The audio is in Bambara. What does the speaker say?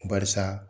Barisa